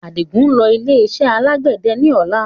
Adigun ń lọ ilé iṣẹ́ alàgbẹ̀dẹ ni ọ̀la